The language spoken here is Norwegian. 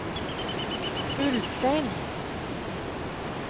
Ulstein